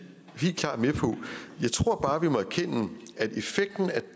helt klart med på jeg tror bare vi må erkende at effekten af